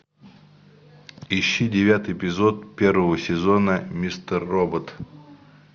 ищи девятый эпизод первого сезона мистер робот